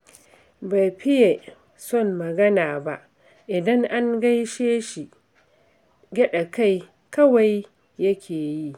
Bai fiye son magana ba, idan an gaishe shi, gyaɗa kai kawai yake yi